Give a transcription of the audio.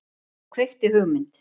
Og kveikti hugmynd.